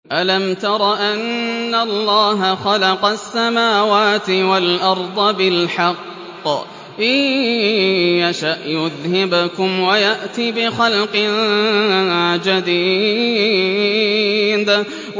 أَلَمْ تَرَ أَنَّ اللَّهَ خَلَقَ السَّمَاوَاتِ وَالْأَرْضَ بِالْحَقِّ ۚ إِن يَشَأْ يُذْهِبْكُمْ وَيَأْتِ بِخَلْقٍ جَدِيدٍ